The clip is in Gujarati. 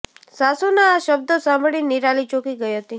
સાસુના આ શબ્દો સાંભળી નિરાલી ચોંકી ગઇ હતી